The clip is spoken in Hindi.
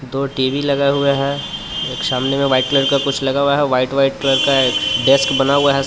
दो टी_वी लगे हुए है एक सामने में वाइट कलर का कुछ लगा हुआ है वाइट वाइट कलर का एक डेस्क बना हुआ है. सब--